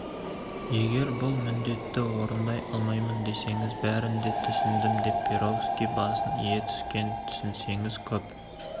егер бұл міндетті орындай алмаймын десеңіз бәрін де түсіндім деп перовский басын ие түскен түсінсеңіз көп